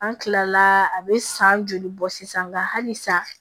An kilala a bɛ san joli bɔ sisan nka hali sisan